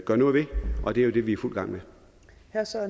gøre noget ved og det er jo det vi er i fuld gang